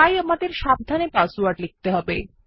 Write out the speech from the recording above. তাই আমাদের সাবধানে পাসওয়ার্ড লিখতে হবে